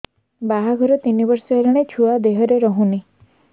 ବାହାଘର ତିନି ବର୍ଷ ହେଲାଣି ଛୁଆ ଦେହରେ ରହୁନି